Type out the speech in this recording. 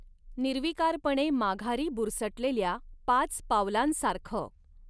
निर्वीकारपणे माघारी बुरसटलेल्या पाच पावलांसारखं